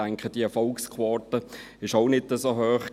Ich denke, diese Erfolgsquote war auch nicht so hoch.